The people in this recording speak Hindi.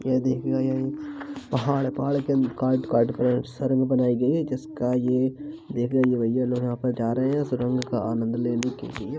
ये देखिएगा ये पहाड़ है पहाड़ काट काट कर सुरंग बनाई गई है जिसका ये यहाँ पर जा रहे हैं सुरंग का आनंद लेने के लिए।